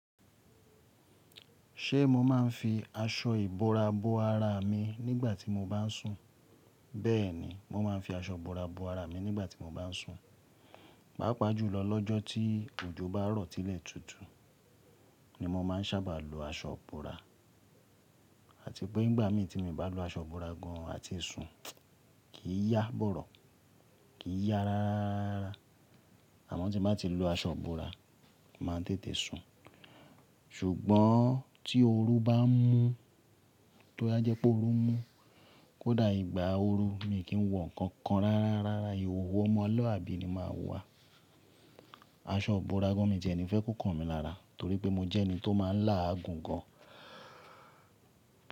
Ṣe mo ma n fi aṣọ ìbora bo ara mi nígbà tí mo bá n sùn? Bẹ́ẹ̀ni, mo ma n fi aṣọ ìbora bo ara mi nígbà tí mo bá n sùn. Pàápàá jùlọ lọ́jọ́ tí òjò bá rọ̀ ti ilẹ́ tútù ni mo má n sábà lo aṣọ ìbora àti pé nígbà mii tí mo bá lo aṣọ ìbora gan àti sùn, kì í yá bọ̀rọ̀, kì í yá rárára. Àmọ́ tí mo bá ti lo aṣọ ìbora, màá tètè sùn. Ṣùgbọ́n tí oru bá n mú, toba jẹ́ pẹ́ oru mú, kódà ìgbà oru mi kì í wọ̀ nǹkan kan rárára, ìhòhò ọmọ luabi ni máa wà. Aṣọ ìbora gan mi dẹ ni fẹ́ kó kan mi lára torí pé mo jẹ́ ẹni tó má n lá àgùn gan.